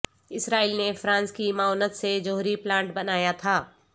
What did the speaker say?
اسرائیل نے فرانس کی معاونت سے جوہری پلانٹ بنایا تھا